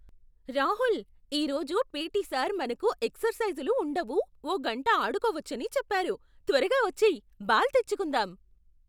రాహుల్! ఈరోజు P T. Sir మనకు ఎక్సర్సైజులు ఉండవు, ఓ గంట ఆడుకోవచ్చని చెప్పారు! త్వరగా వచ్చేయ్, బాల్ తెచ్చుకుందాం!